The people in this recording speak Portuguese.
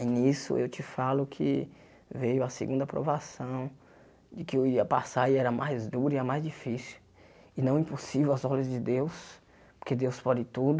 Aí nisso eu te falo que veio a segunda provação, de que eu ia passar e era mais dura e a mais difícil, e não impossível às ordens de Deus, porque Deus pode tudo.